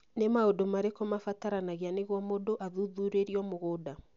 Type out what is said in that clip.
Nĩ maũndũ marĩkũ mabataranagia nĩguo mũndũ athuthurĩrio mũgũnda?